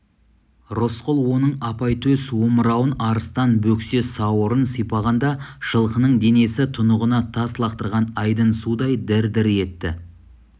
рысқұл оның апайтөс омырауын арыстан бөксе сауырын сипағанда жылқының денесі тұнығына тас лақтырған айдын судай дір-дір етті